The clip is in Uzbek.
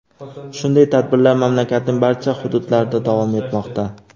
Shunday tadbirlar mamlakatning barcha hududlarida davom etmoqda.